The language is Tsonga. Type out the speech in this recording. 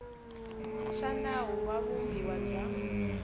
xa nawu wa vumbiwa bya